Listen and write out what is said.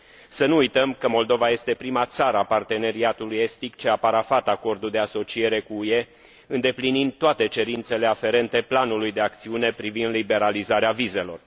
Să nu uităm că Moldova este prima țară a Parteneriatului estic ce a parafat Acordul de asociere cu UE, îndeplinind toate cerințele aferente Planului de acțiune privind liberalizarea vizelor.